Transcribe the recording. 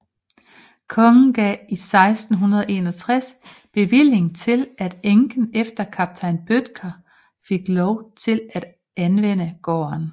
Kongen gav i 1661 bevilling til at enken efter en kaptajn Bødtker fik lov til at anvende gården